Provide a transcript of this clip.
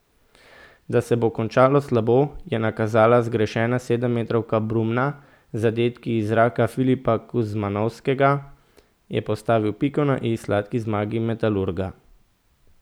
Da se bo končalo slabo, je nakazala zgrešena sedemmetrovka Brumna, zadetek iz zraka Filipa Kuzmanovskega je postavil piko na i sladki zmagi Metalurga.